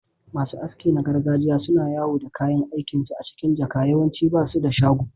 Masu aski na gargajiya suna yawo da kayan aikinsu a cikin jaka, yawanci ba su da shago.